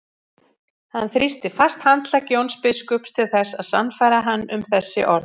Hann þrýsti fast handlegg Jóns biskups til þess að sannfæra hann um þessi orð.